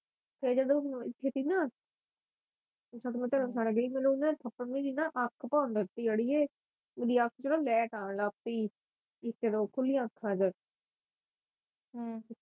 ਤੇ ਜਦੋ ਕਿਤੇ ਨਾ ਜਦੋ ਮੈ ਘਰੋਂ ਠਾਣੇ ਗਈ ਮੈਨੂੰ ਨਾ ਥੱਪੜ ਅੱਖ ਪੌਣ ਲਗ ਪਈ ਅੜੀਏ ਓਦੀ ਅੱਖ ਚ ਨਾ ਲੈੱਟ ਆਉਣ ਲਗ ਪੀ ਚਲੋ ਖੁਲੀਆਂ ਅੱਖਾਂ ਚ